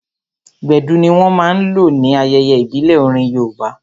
Gbedu ní wọ́n máa n lò ní ayẹyẹ ìbílẹ̀ orin yoòbá